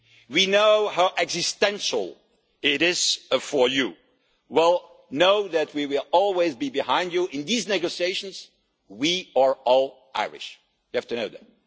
We know how existential it is for you, but know that we will always be behind you. In these negotiations, we are all Irish, and you have to know that.